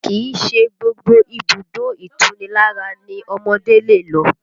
Kìí ṣe gbogbo ibùdó ìtunilára ni ọmọdé lè lọ